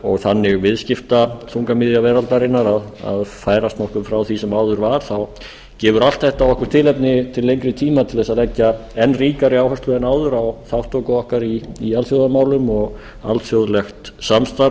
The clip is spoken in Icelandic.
og þannig viðskiptaþungamiðja veraldarinnar að færast nokkuð frá því sem áður var þá gefur allt þetta okkur tilefni til lengri tíma að leggja enn ríkari áherslu en áður á þátttöku okkar í alþjóðamálum og alþjóðlegt samstarf